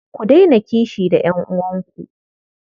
Ku daina kishi da ƴan'uwanku.